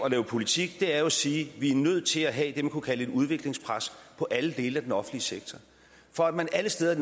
og lave politik er jo at sige vi er nødt til at have det man kunne kalde et udviklingspres på alle dele af den offentlige sektor for at man alle steder i